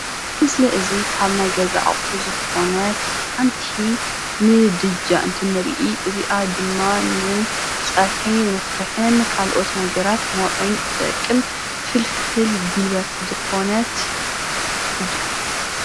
እዚ ምስሊ እዚ ካብ ናይ ገዛ ኣቑሑ ዝኾነት ሓንቲ ምድጃ እንትንሪኢ እዚኣ ድማ ንፀብሒ መስርሕን ካልአት ነገራት መውዐይን ትጠቅም ፍልፍል ጉልበት ዝኾነት እያ፡፡